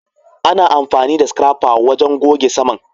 Ana amfani da Scrapper wajen goge saman